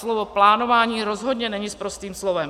Slovo plánování rozhodně není sprostým slovem.